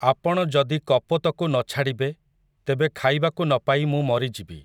ଆପଣ ଯଦି କପୋତକୁ ନ ଛାଡ଼ିବେ, ତେବେ ଖାଇବାକୁ ନ ପାଇ ମୁଁ ମରିଯିବି ।